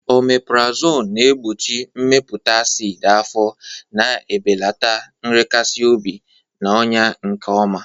Omepurazonu na-egbochi mmepụta acid afọ, na-ebelata nrekasi obi, na ọnya, nke ọma.